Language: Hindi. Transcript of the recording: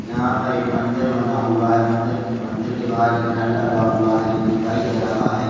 यहां पर एक मंदिर बना हुआ है मंदिर मंदिर के बाहर एक नल लगा हुआ है जो दिखाई दे रहा है।